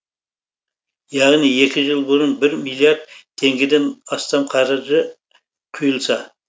яғни екі жыл бұрын бір миллиард теңгеден астам қаржы құйылса